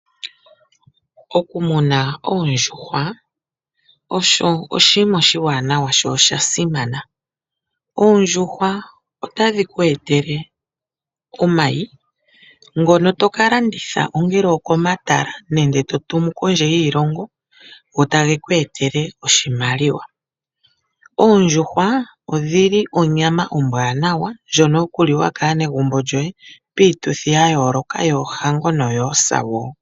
Okumuna oondjuhwa osho oshinima oshiwanawa sho osha simana. Oondjuhwa otadhi ku etele omayi ngono to ka landitha; ongele okomatala nenge to tumu kondje yiilongo go tage ku etele oshimaliwa. Oondjuhwa odhi li onyama ombwaanawa ndjono yokuliwa kaanegumbo lyoye, piituthi ya yooloka; yoohango noyoosa wo.